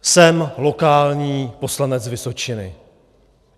Jsem lokální poslanec Vysočiny.